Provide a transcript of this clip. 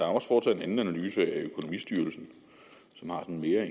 også foretaget en anden analyse af økonomistyrelsen som har en mere